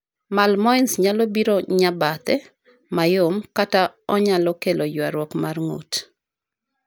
malmoense nyalo biro nya bathe, mayom ,kata onyalo kelo yarruok mar ng'ut